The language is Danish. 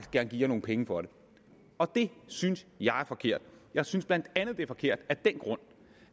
gerne give jer nogle penge for det og det synes jeg er forkert jeg synes bla det er forkert af den grund